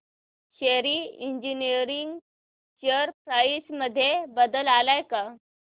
शेली engineering share price मध्ये बदल आलाय का